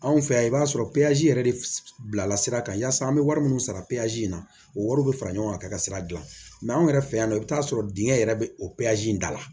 Anw fɛ yan i b'a sɔrɔ yɛrɛ de bila la sira kan yaasa an be wari minnu sara in na o wari bɛ fara ɲɔgɔn kan ka sira dilan mɛ anw yɛrɛ fɛ yan nɔ i bɛ taa sɔrɔ dingɛ yɛrɛ bɛ o in da la